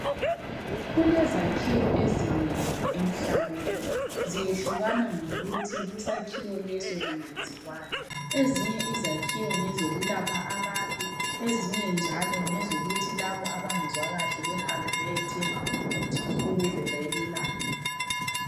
Kulezakhiwo ezinengi emhlabeni ziyehlukana ngokuthi kusakhiwo leso kuyenziwani. Ezinye izakhiwo ngezokulapha abantu, ezinye njalo ngezokuthi labo abangezwa kahle behambe beyethenga umuthi ukuze belulame.